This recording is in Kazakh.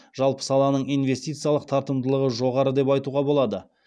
жалпы саланың инвестициялық тартымдылығы жоғары деп айтуға болады